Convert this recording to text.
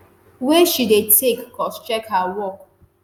wey she dey take cross-check her work